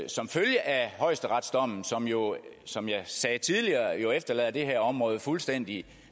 som følge af højesteretsdommen som jo som jeg sagde tidligere efterlader det her område fuldstændig